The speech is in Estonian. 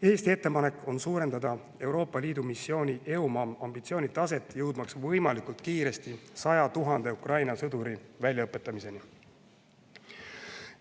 Eesti ettepanek on suurendada Euroopa Liidu missiooni EUMAM ambitsiooni taset, jõudmaks võimalikult kiiresti 100 000 Ukraina sõduri väljaõpetamiseni.